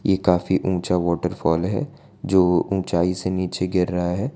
ये काफी ऊंचा वॉटरफॉल है जो ऊंचाई से नीचे गिर रहा है।